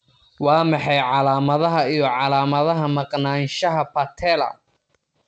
Waa maxay calaamadaha iyo calaamadaha Maqnaanshaha patella?